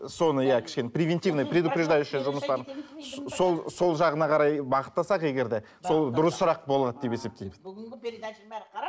соны иә кішкене превентивный предупреждающий жұмыстарын сол сол жағына қарай бағыттасақ егер де сол дұрысырақ болады деп есептеймін бүгінгі